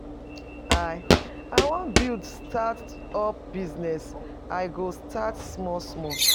I I wan build start up business. I go start small small.